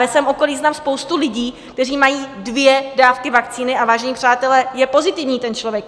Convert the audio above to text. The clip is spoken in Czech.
Ve svém okolí znám spoustu lidí, kteří mají dvě dávky vakcíny, a vážení přátelé, je pozitivní ten člověk.